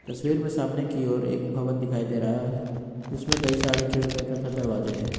तस्वीर में सामने की ओर एक भवन दिखाई दे रहा है इसमें कई सारे खिड़कियां तथा दरवाजे हैं।